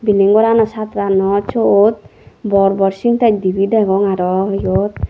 bilding gorano sajannot siot bor bor sintak dibe degong aro yot.